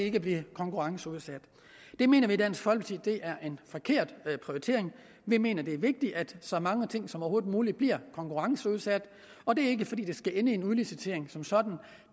ikke blive konkurrenceudsat det mener vi i dansk folkeparti er en forkert prioritering vi mener det er vigtigt at så mange ting som overhovedet muligt bliver konkurrenceudsat og det er ikke fordi det skal ende i en udlicitering som sådan